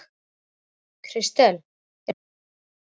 Kristel, er bolti á miðvikudaginn?